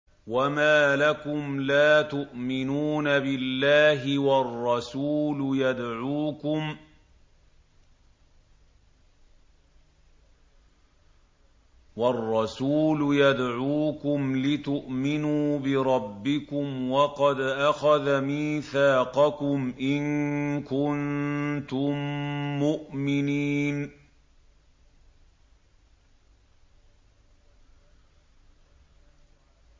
وَمَا لَكُمْ لَا تُؤْمِنُونَ بِاللَّهِ ۙ وَالرَّسُولُ يَدْعُوكُمْ لِتُؤْمِنُوا بِرَبِّكُمْ وَقَدْ أَخَذَ مِيثَاقَكُمْ إِن كُنتُم مُّؤْمِنِينَ